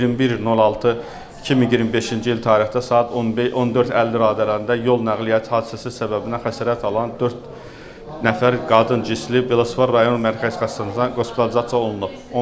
21.06.2025-ci il tarixdə saat 14:50 radələrində yol nəqliyyat hadisəsi səbəbinə xəsarət alan dörd nəfər qadın cinsli Velospar rayon Mərkəzi Xəstəxanasında qospitalizasiya olunub.